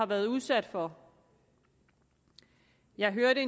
været udsat for jeg hørte